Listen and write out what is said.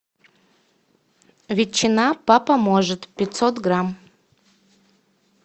ветчина папа может пятьсот грамм